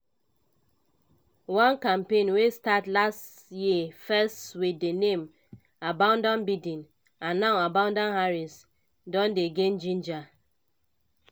one campaign wey start last year first wit di name abandon biden and now abandon harris don dey gain ginger.